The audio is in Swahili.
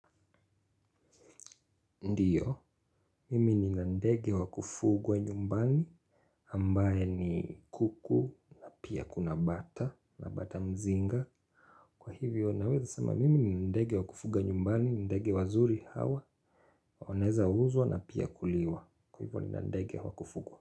Ndiyo, mimi nina ndege wa kufugwa nyumbani ambaye ni kuku na pia kuna bata, na bata mzinga. Kwa hivyo, naweza sama mimi nina ndege wa kufugwa nyumbani, ndege wazuri hawa, wanaezauzwa na pia kuliwa. Kwa hivyo nina ndege wa kufugwa.